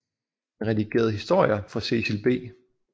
Han redigerede historier for Cecil B